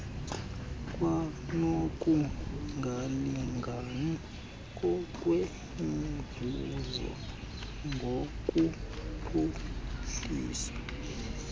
kwanokungalingani ngokwemivuzo ngokuphuhlisa